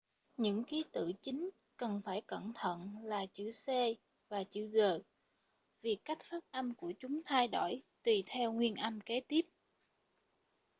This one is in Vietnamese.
những ký tự chính cần phải cẩn thận là chữ c và chữ g vì cách phát âm của chúng thay đổi tùy theo nguyên âm kế tiếp